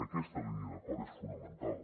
aquesta línia d’acord és fonamental